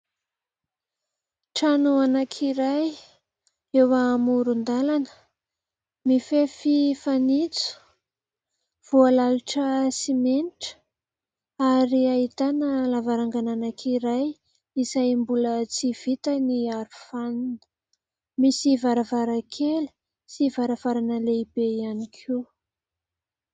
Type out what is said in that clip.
Trano anankiray eo amoron-dalana, mifefy fanitso, voalalotra simenitra ary ahitana lavarangana anankiray izay mbola tsy vita ny aro fanina. Misy varavarankely sy varavarana lehibe ihany koa.